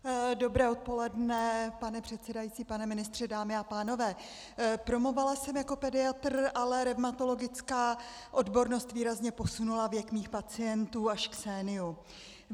Dobré odpoledne, pane předsedající, pane ministře, dámy a pánové, promovala jsem jako pediatr, ale revmatologická odbornost výrazně posunula věk mých pacientů až k séniu.